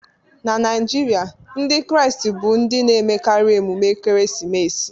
Na Naijiria, Ndị Kraịst bu ndị na-emekarị emume ekeresimesi